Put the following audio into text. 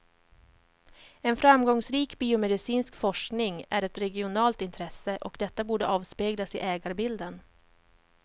En framgångsrik biomedicinsk forskning är ett regionalt intresse, och detta borde avspeglas i ägarbilden.